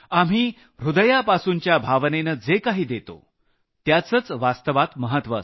ह्रदयापासूनच्या भावनेनं जे काही देतो त्याचंच वास्तवात मह्त्व असतं